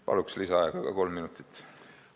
Palun lisaaega kolm minutit!